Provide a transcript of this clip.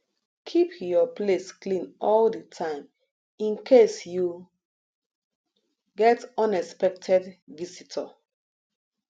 keep your place clean all di time in case you get unexpected visitor